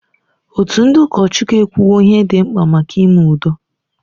Òtù ndị ụkọchukwu ekwuwo ihe dị mkpa maka ime udo.